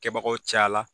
Kɛbagaw cayala